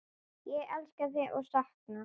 Ég elska þig og sakna.